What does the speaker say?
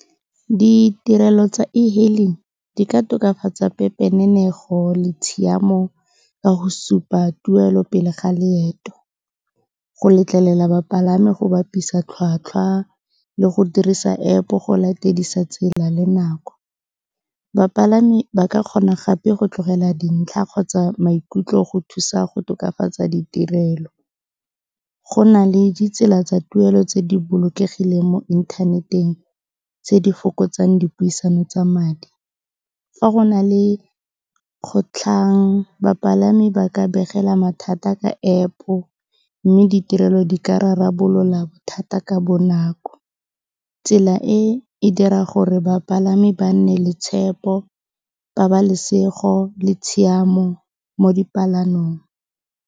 Ditirelo tsa e-hailing di ka tokafatsa pepenenego le tshiamo ka go supa tuelo pele ga leeto, go letlelela bapalami go bapisa tlhwatlhwa le go dirisa App-o go latedisa tsela le nako. Bapalami ba ka kgona gape go tlogela dintlha kgotsa maikutlo go thusa go tokafatsa ditirelo. Go na le ditsela tsa tuelo tse di bolokegileng mo inthaneteng tse di fokotsang dipuisano tsa madi. Fa go na le kgotlhang, bapalami ba ka begela mathata ka App-o mme ditirelo di ka rarabolola bothata ka bonako. Tsela e, e dira gore bapalami ba nne le tshepo, pabalesego le tshiamo mo dipalamong.